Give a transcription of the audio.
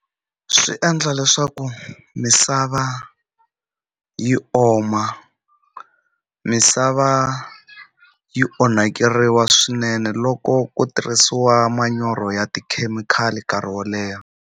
Swi endla leswaku misava yi oma misava yi onhakeriwa swinene loko ku tirhisiwa manyoro ya tikhemikhali nkarhi wo leha.